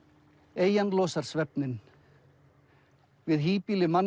eyjan losar svefninn við híbýli mannanna